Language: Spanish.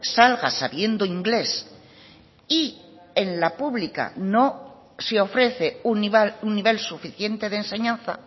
salga sabiendo inglés y en la pública no se ofrece un nivel suficiente de enseñanza